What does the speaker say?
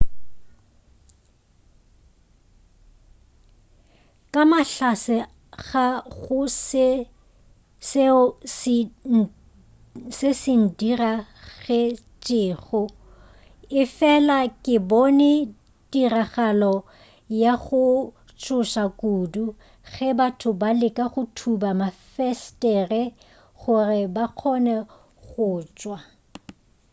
ka mahlatse ga go seo se ndiragetšego efela ke bone tiragalo ya go tšhoša kudu ge batho ba leka go thuba mafesetere gore ba kgone go tšwa